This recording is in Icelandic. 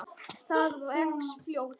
Það vex fljótt.